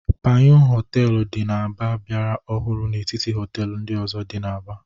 Panyụ Họteelụ dị n'Aba biara ọhụrụ n'etiti họtel ndị ọzọ. dị n'Aba.